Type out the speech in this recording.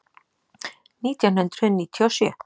Nítján hundruð níutíu og sjö